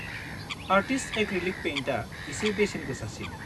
Artist acrylic पेइन्टआ एसे बेसेन गोसासिन।